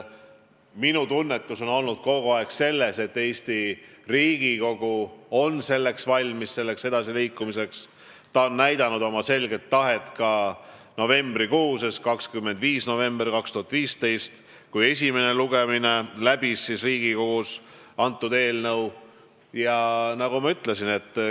Minu tunnetus on olnud kogu aeg see, et Eesti Riigikogu on edasiliikumiseks valmis, ta näitas oma selget tahet 25. novembril 2015, kui see eelnõu läbis Riigikogus esimese lugemise.